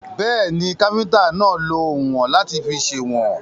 Bẹ́ẹ̀ni, káfíntà náà lọ oùnwọ̀n láti fi sèwọ̀n.